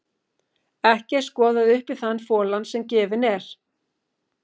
Ekki er skoðað upp í þann folann sem gefinn er.